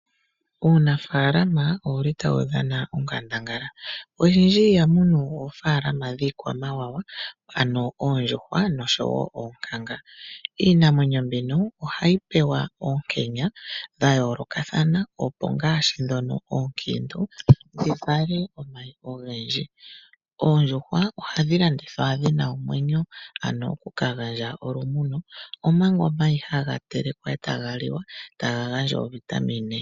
Uunafaalama owuli tawu dhana onkandangala oshindji iha munu oofaalama dhiikwamawawa ano oondjuhwa noshowo oonkanga. Iinamwenyo mbino ohayi pewa ookenya dha yoolokathana opo ngaashi dhono oonkiintu dhi vale omayi ogendji. Oondjuhwa ohadhi landithwa dhina omwenyo ano okuka gandja olumuno omanga omayi haga telekwa e taga liwa taga gandja ovitamine.